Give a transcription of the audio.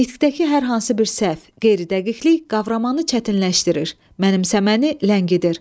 Nitqdəki hər hansı bir səhv, qeyri-dəqiqlik qavramanı çətinləşdirir, mənimsəməni ləngidir.